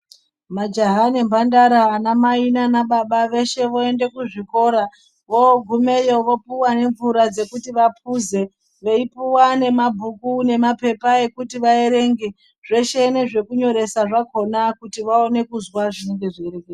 Majaha nembandara, vanamai nanababa veshe voende kuzvikora, vogumeyo vopuwa nemvura dzekuti vaphuze veipuwa nemabhuku nemapepa ekuti vaerenge, zveshe nezvekunyoresa zvakona kuti vaone kuzwa zvinenge zveireketwa.